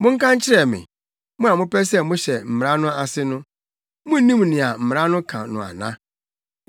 Monka nkyerɛ me, mo a mopɛ sɛ mohyɛ mmara no ase no, munnim nea mmara no ka no ana?